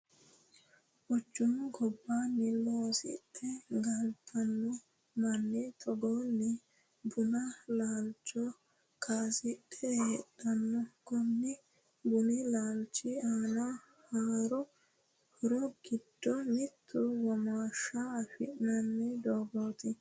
Quchumu gobbaani loosidhe galitano Mani togoni bunu laalicho kaasidhe heedhano. Kuni bunu laalichi aano horro giddo mittu womaàshsha afinanni doogoti.